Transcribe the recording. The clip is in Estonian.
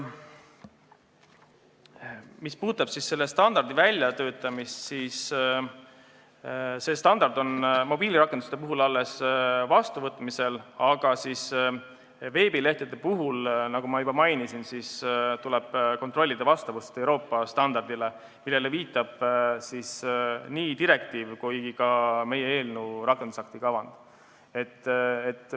Mis puudutab selle standardi väljatöötamist, siis mobiilirakenduste standard on alles vastuvõtmisel, aga veebilehtede puhul, nagu ma juba mainisin, tuleb kontrollida vastavust Euroopa standardile, millele viitab nii direktiiv kui ka meie eelnõus olev rakendusakti kavand.